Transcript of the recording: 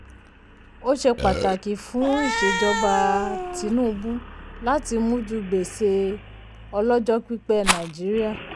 ó ṣe pàtàkì fún ìṣejọba um tinubu láti mújú gbèsè ọlọ́jọ́ pípẹ́ nàìjííríà.